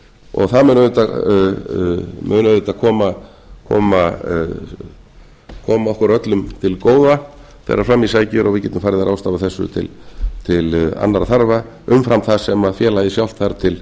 og það mun auðvitað koma okkur öllum til góða þegar fram í sækir og við getum farið að ráðstafa þessu til annarra þarfa umfram það sem félagið sjálft þarf til